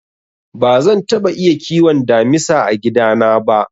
Bazan taɓa iya kiwon damisa a gida na ba.